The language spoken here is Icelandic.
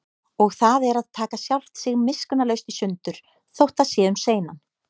Og það er að taka sjálft sig miskunnarlaust í sundur, þótt það sé um seinan.